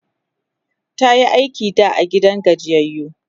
tayi aiki da a gidan gajiyayyu